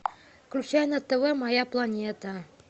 включай на тв моя планета